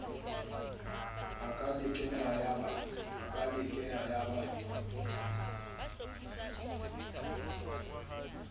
a ka lekeha ya ba